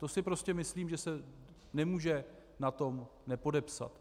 To si prostě myslím, že se nemůže na tom nepodepsat.